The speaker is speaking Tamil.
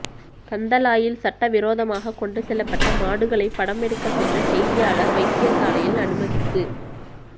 கந்தளாயில் சட்டவிரோதமாக கொண்டுசெல்லப்பட்ட மாடுகளை படம் எடுக்க சென்ற செய்தியாளர் வைத்தியசாலையில் அனுமதிப்பு